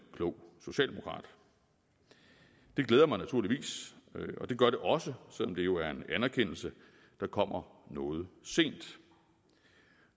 klog socialdemokrat det glæder mig naturligvis og det gør det også selv om der jo er en anerkendelse der kommer noget sent